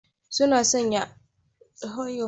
Suna sanye da abin rufe fuska saboda abin da ke faruwa a yau.